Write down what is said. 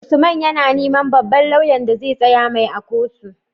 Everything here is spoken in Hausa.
Usman yAna neman babban loyan da zai tsaya mai a kotu